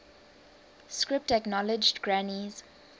script acknowledged granny's